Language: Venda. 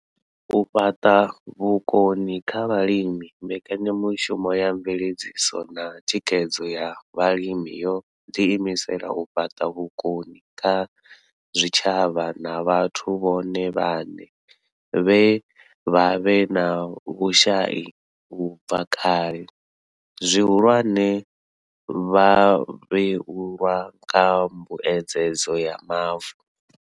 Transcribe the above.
U fhaṱa vhukoni kha vhalimi mbekanyamushumo ya mveledziso na thikhedzo ya vhalimi yo ḓi imisela u fhaṱa vhukoni kha zwitshavha na vhathu vhone vhaṋe vhe vha vha vhe na vhushai u bva kale, zwihulwane, vhavhuelwa kha mbuedzedzo ya mavu.